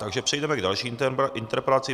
Takže přejdeme k další interpelaci.